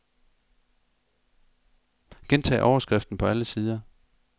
Gentag overskriften på alle sider.